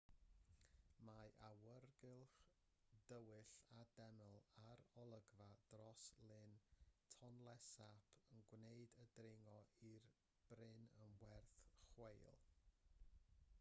mae awyrgylch dywyll y deml a'r olygfa dros lyn tonle sap yn gwneud y dringo i'r bryn yn werth chweil